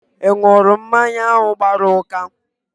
Ị ṅụrụ mmanya ahụ gbara ụka?